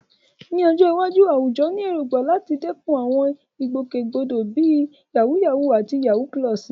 Ní ọjọ́ iwájú, àwùjọ ní èrògbà láti dẹ́kun àwọn ìgbòkègbodò bíi "yàwúyáwù" àti "yawú púlọ̀sì."